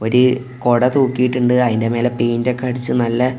ഒര് കൊട തൂക്കീട്ടിണ്ട് അതിന്റെ മേലെ പെയിന്റ് ഒക്കെ അടിച്ച് നല്ല --